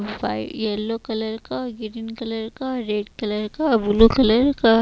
मोबाइ yellow colour का green colour का red colour का आ ब्लू कलर का --